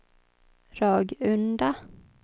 Ragunda